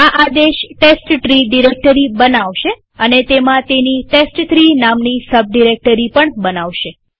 આ આદેશ test tree directory બનાવશે અને તેમાં તેની ટેસ્ટ3 નામની સબ ડિરેક્ટરી બનાવશે